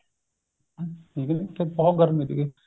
ਠੀਕ ਏ ਜੀ ਉਥੇ ਬਹੁਤ ਗਰਮੀ ਤਿਗੀ